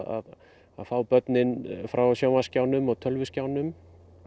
að fá börnin frá sjónvarpsskjánum og tölvuskjánum